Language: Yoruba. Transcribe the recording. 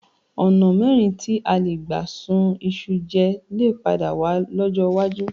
Ọ̀̀nà mìíràn tí a lè gbà ṣun iṣu jẹ lè padà wà lọ́jọ́ iwájú